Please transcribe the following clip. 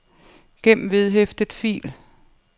gem vedhæftet fil